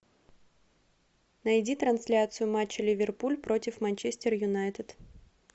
найди трансляцию матча ливерпуль против манчестер юнайтед